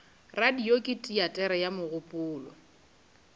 radio ke teatere ya mogopolo